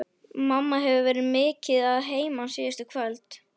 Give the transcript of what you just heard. Mamma hefur verið mikið að heiman síðustu kvöld.